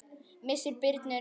Missir Birnu er mikill.